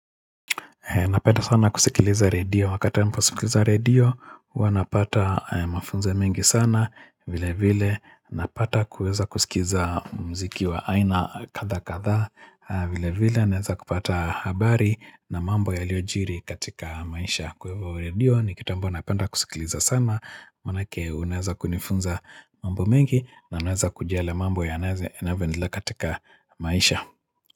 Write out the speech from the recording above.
Napenda sana kusikiliza redio, wakati wa kusikiliza redio, huwa napata mafunzo mengi sana, vile vile, napata kuweza kusikiza muziki wa aina kadha kadha, vile vile, naweza kupata habari na mambo yaliyojiri katika maisha kwa hivyo redio, ni kitu ambayo napenda kusikiliza sana, maanake unaweza kunifunza mambo mengi, na naweza kujua yale mambo yanavyoendelea katika maisha.